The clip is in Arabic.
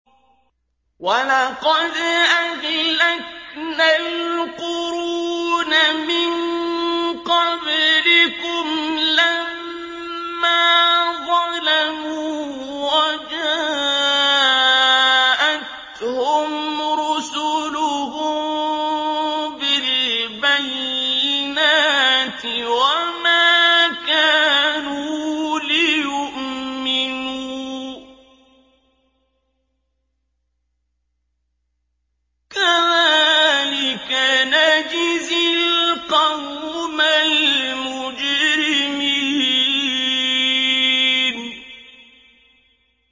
وَلَقَدْ أَهْلَكْنَا الْقُرُونَ مِن قَبْلِكُمْ لَمَّا ظَلَمُوا ۙ وَجَاءَتْهُمْ رُسُلُهُم بِالْبَيِّنَاتِ وَمَا كَانُوا لِيُؤْمِنُوا ۚ كَذَٰلِكَ نَجْزِي الْقَوْمَ الْمُجْرِمِينَ